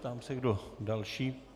Ptám se, kdo další.